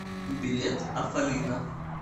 билет афалина